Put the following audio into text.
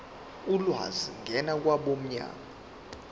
ulwazi ngena kwabomnyango